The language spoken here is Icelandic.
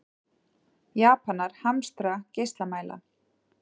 Japanar hamstra geislamæla